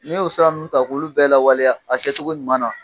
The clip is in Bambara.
N'i y'o siran ninnu ta k'olu bɛɛ lawaleya a kɛcogo ɲuman na